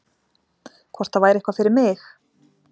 Hvort það væri eitthvað fyrir mig?